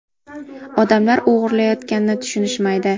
Odamlar o‘g‘irlayotganini tushunishmaydi.